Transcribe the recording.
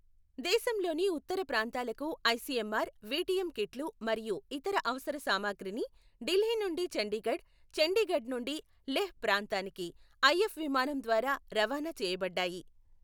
దేశంలోని ఉత్తర ప్రాంతాలకు ఐసిఎంఆర్ విటిఎం కిట్లు మరియు ఇతర అవసర సామాగ్రిని ఢిల్లీ నుండి చండీగఢ్, చండీగఢ్ నుండి లెహ్ ప్రాంతానికి ఐఏఫ్ విమానం ద్వారా రవాణా చేయబడ్డాయి.